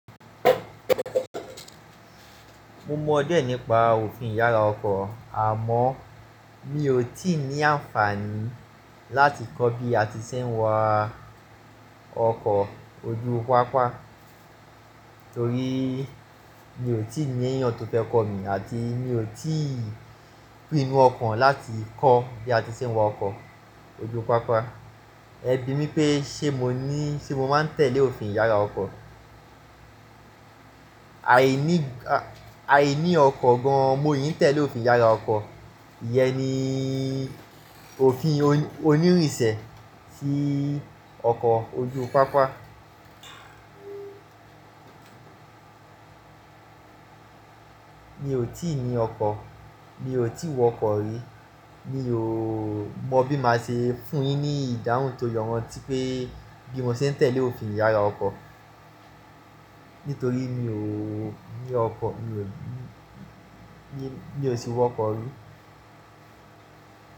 Mo mọ díẹ̀ nípa òfin yàrá ọkọ̀ àmọ́ mi ò tí ì ní àǹfààní láti kọ́ bí a ti ṣe ń wa ọkọ̀ ojú pápá torí mi ò tí ì ní ẹ̀yán tó fẹ́ kọ́ mi àti mi ò tí ì pinu ọkàn láti kọ́ bí a ti ṣe ń wa ọkọ̀ ojú pápá. Ẹ bí mi pé ṣe mo ní, ṣe mo máa ń tẹ̀lé òfin yàrá ọkọ̀? Aìní, aìní ọkọ̀ gan-an mo yìí ń tẹ̀lé òfin yàrá ọkọ̀. Iyẹn ni òfin oníìrìnsẹ̀ sí ọkọ̀ ojú pápá. Mi ò tí ì ní ọkọ̀, mi ò tí wọ ọkọ̀ rí. Mi ò mọ bí màá ṣe fún un yín ní ìdáhùn to yọwọ́ tí pé bí mo ṣe ń tẹ̀lé òfin yàrá ọkọ̀ nítorí mi ò ní ọkọ̀, mi ò sí wọ ọkọ̀ rí.